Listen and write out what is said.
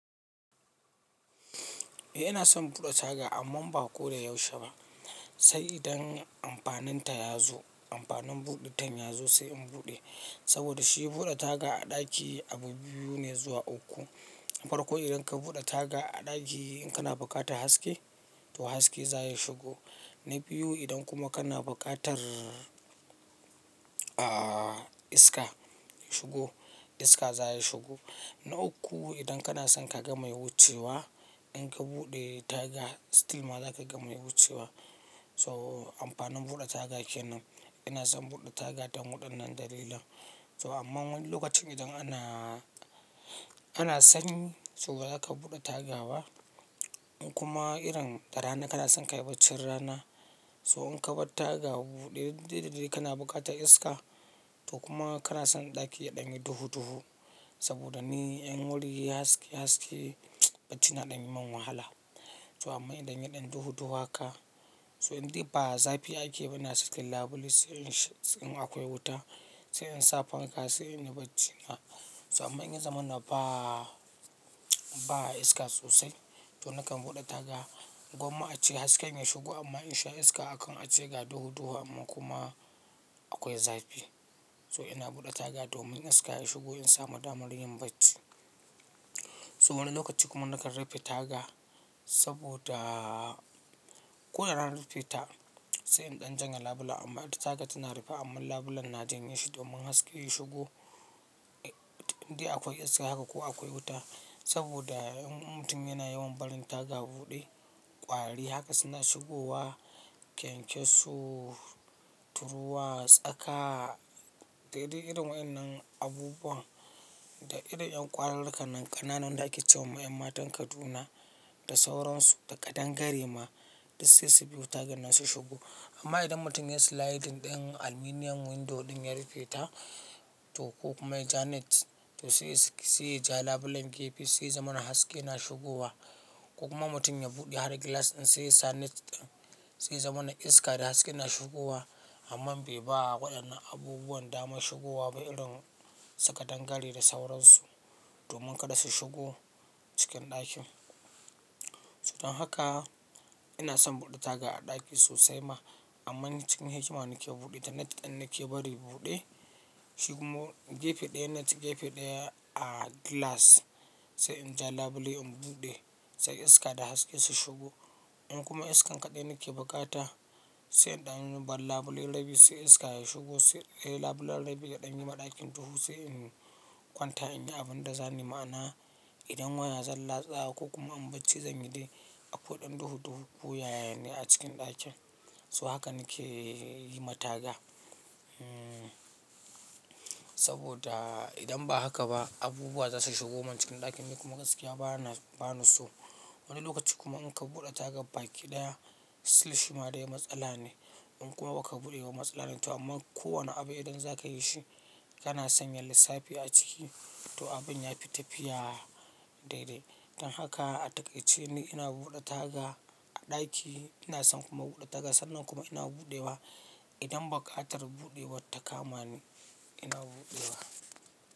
Eh ina son buɗe taga ammam ba ko da yaushe ba. Sai idan amfaninta ya zo, amfanin buɗitan ya zo sai in buɗe. Saboda shi buɗe taga a ɗaki abu biyu ne zuwa uku. Farkon idan ka buɗe taga a ɗaki in kana buƙatar haske to haske za ya shigo. Na biyu idan kuma kana buƙatar, ah iska shigo, iska za ya shigo. Na uku idan kana son ka ga mai wucewa, in ka buɗe taga still ma za ka ga mai wucewa. So amfanin buɗe taga ke nan. Ina son buɗe taga don waɗannan dalilan. So amma wani lokacin idan ana, ana sanyi so ba za ka buɗe tagawa. In kuma irin da rana kana son ka yi bacci rana so in ka bar taga buɗe, dai-dai dai kana buƙatar iska to kuma kana son ɗaki ya ɗanye duhu-duhu. Saboda ni in wuri yayi haske-haske baci na ɗan yi min wahala. So amma in ɗan yi ɗan duhu-duhu haka so indai ba zafi ake ba ina cikin labule sai in, in akwai wuta, sai in sa fanka sai in yi bacci na. So amma in ya zamana ba, ba iska sosai to nakan buɗe taga. Gomma a ce hasken ya shigo amma in sha iska akan a ce ga duhu-duhu amma kuma akwai zafi. So ina buɗe taga domin iska ya shigo in samu damar yin bacci. So wani lokaci kuma nakan rufe taga saboda ko da rana na rufe ta sai in ɗan janye labula amma ita taga tana rufe amma labulen na janye shi domin haske ya shigo. Indai akwai iska haka ko akwai wuta. Saboda in mutum yana yawan barin taga buɗe, ƙwari haka suna shigowa, kyankyaso, turuwa, tsaka dai dai irin waɗannan abubuwa. Da irin 'yan ƙwararraka nan ƙananan da ake ce wa 'yan matan Kaduna da sauransu da kadangare ma, duk sai su biyo taga nan su shigo. Amma idan mutum ya yi sliding din aluminum window ɗin ya rufe ta to ko kuma ya ja net to sai, sai ja labulen gefe sai zamana haske na shigowa. Ko kuma mutum ya buɗe har glass ɗin sai ya sa net ɗin sai ya zamana iska da haske na shigowa. Amma bai ba waɗannan abubuwan dama shigowa ba irin su kadangare da sauransu domin kada su shigo cikin ɗakin. Don haka ina son buɗe taga a ɗaki sosai ma amma cikin hikima nake buɗe ta. Net ɗin nake bari buɗe. Shi kuma gefe ɗaya net, gefe ɗaya ah glass sai in ja labule in buɗe sai iska da haske su shigo. In kuma iskan kaɗai nake bukata sai in ɗan bar labule rabin sai iska ya shigo sai labulen rabin ya ɗanye ma ɗakin duhu sai in kwanta in yi abin da zani ma'ana. Idan waya zan latsa ko kuma in bacci zan yi dai akwai ɗan duhu-duhu koyaya ne a cikin ɗakin. So haka nake yi ma taga. Saboda idan ba haka ba abubuwa za su shigo man cikin ɗakin ni kuma gaskiya ba na, ba na so. Wani lokaci kuma in ka buɗe taga baki ɗaya still shi ma dai matsala ne. In kuma ba ka buɗe kuma matsala ne. To amma kowane abu idan za ka yi shi kana sanya lissafi a ciki to abin ya fi tafiya dai-dai. Don haka a takaice ni ina buɗe taga a ɗaki. Ina son kuma buɗe taga. Sannan kuma ina buɗewa idan buƙatar buɗewa ta kama ni ina buɗewa.